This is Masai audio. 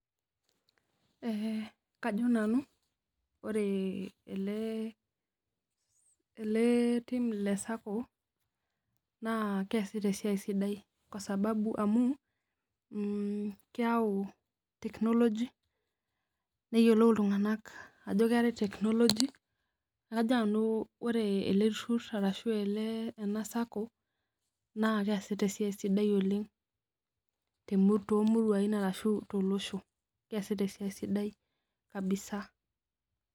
ee kajo nanu ore ele tim le sacco naa kesita esiai sidai kwa sababu amu, keyau technology neyiolou iltunganak ajo keetae technology neeku kajo nanu ore ele turur arashu ele ena sacco naa keesiata esiai sidai oleng toomuruai ashu tolosho keesiata esiai sidai kabisa.